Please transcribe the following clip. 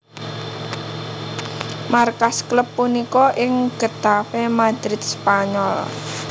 Markas klub punika ing Getafe Madrid Spanyol